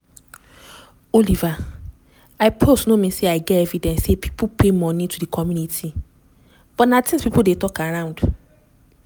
"oliver im post no mean say im get evidence say pipo pay money to di committee but na tins pipo dey tok around